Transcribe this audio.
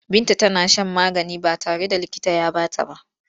Binta tana shan magani ba tare da likita ya ba ta ba.